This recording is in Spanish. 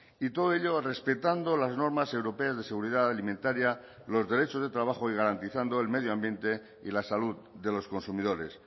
y todo ello respetando las normas europeas de seguridad alimentaria los derechos de trabajo y garantizando el medio ambiente y la salud de los consumidores